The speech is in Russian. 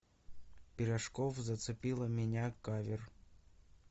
пирожков зацепила меня кавер